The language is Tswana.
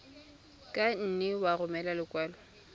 ka nne ya romela lekwalo